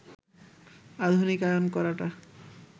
আধুনিকায়ন করাটা